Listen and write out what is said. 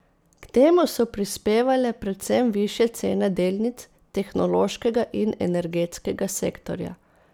K temu so prispevale predvsem višje cene delnic tehnološkega in energetskega sektorja.